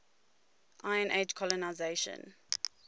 iron age colonisation